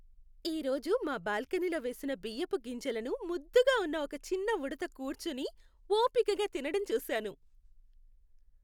ఈ రోజు మా బాల్కనీలో వేసిన బియ్యపు గింజలను ముద్దుగా ఉన్న ఒక చిన్న ఉడుత కూర్చుని, ఓపికగా తినడం చూశాను.